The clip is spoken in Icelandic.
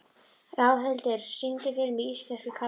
Ráðhildur, syngdu fyrir mig „Íslenskir karlmenn“.